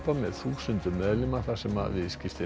með þúsundum meðlima þar sem viðskiptin